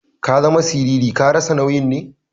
Ka zama siriri. Ka rasa nauyi ne?